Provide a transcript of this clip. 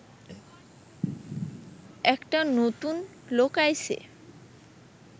একটা নতুন লোক আইছে